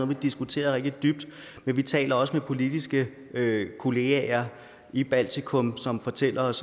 vi diskuterede rigtig dybt men vi taler også med politiske kollegaer i baltikum som fortæller os